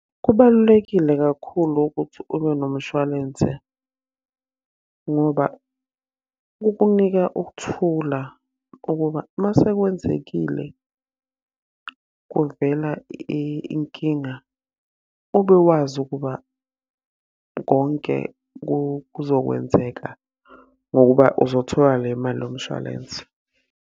Kubalulekile kakhulu ukuthi ube nomshwalense ngoba, kukunika ukuthula ukuba uma sekwenzekile kuvela inkinga ube wazi ukuba konke kuzokwenzeka ngokuba uzothola le mali yomshwalense.